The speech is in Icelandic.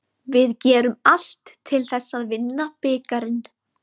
Við gerum allt til þess að vinna bikarinn.